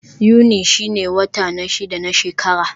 Yuni shine wata na shida na shekara.